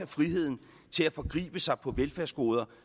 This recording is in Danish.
friheden til at forgribe sig på velfærdsgoder